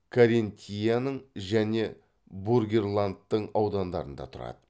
каринтияның және бургерлантың аудандарында тұрады